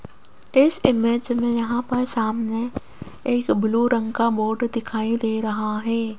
इस इमेज में यहां पर सामने एक ब्लू रंग का बोर्ड दिखाई दे रहा है।